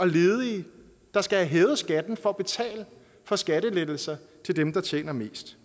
ledige der skal have hævet skatten for at betale for skattelettelser til dem der tjener mest